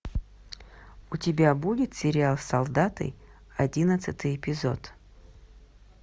у тебя будет сериал солдаты одиннадцатый эпизод